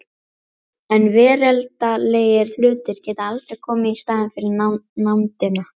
En veraldlegir hlutir geta aldrei komið í staðinn fyrir nándina.